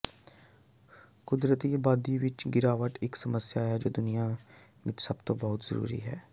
ਕੁਦਰਤੀ ਆਬਾਦੀ ਵਿੱਚ ਗਿਰਾਵਟ ਇੱਕ ਸਮੱਸਿਆ ਹੈ ਜੋ ਦੁਨੀਆ ਵਿੱਚ ਸਭਤੋਂ ਬਹੁਤ ਜ਼ਰੂਰੀ ਹੈ